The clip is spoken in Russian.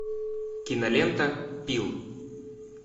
кинолента пил